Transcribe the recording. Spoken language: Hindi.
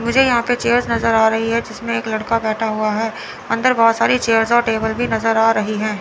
मुझे यहां पर चेयर्स नजर आ रही है जिसमें एक लड़का बैठा हुआ है अंदर बहोत सारी चेयर्स और टेबल भी नजर आ रही हैं।